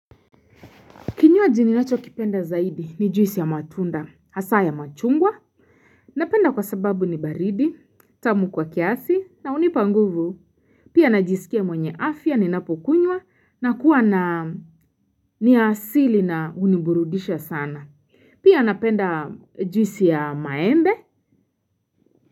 Kinywaji ninacho kipenda zaidi ni juisi ya matunda, hasa ya machungwa, napenda kwa sababu ni baridi, tamu kwa kiasi, na unipa nguvu pia najisikia mwenye afya ni napukunwa na kuwa na ni asili na uniburudisha sana, pia napenda juisi ya maende.